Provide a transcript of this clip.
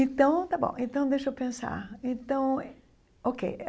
Então, está bom então deixa eu pensar então ok.